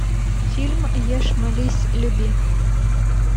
фильм ешь молись люби